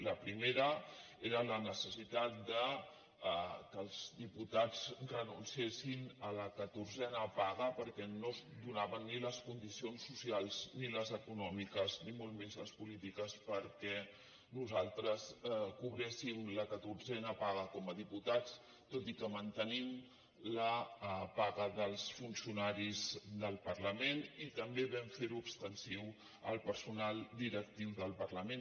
la primera era la necessitat que els diputats renunciessin a la catorzena paga perquè no es donaven ni les condicions socials ni les econòmiques ni molt menys les polítiques perquè nosaltres cobréssim la catorzena paga com a diputats tot i que mantenim la paga dels funcionaris del parlament i també vam fer ho extensiu al personal directiu del parlament